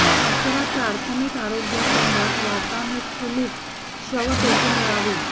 आचरा प्राथमिक आरोग्य केंद्रात वातानुकूलित शव पेटी मिळावी